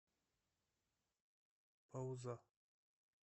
пауза